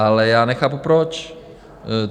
Ale já nechápu, proč.